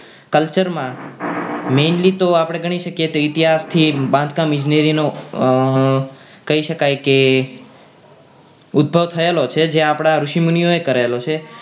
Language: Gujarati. Culture માં mainly તો આપણે ગણી શકીએ તો ઇતિહાસ થી બાંધકામ ઇજનેરી નો કહી શકાય કે ઉદ્ભવ થયેલો છે જે આપણા ઋષિમુનિઓએ કરેલો છે